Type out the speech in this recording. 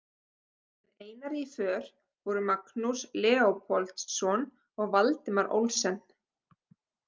Með Einari í för voru Magnús Leópoldsson og Valdimar Olsen.